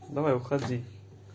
давай уходи